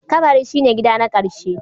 Kabari shi ne gida na ƙarshe.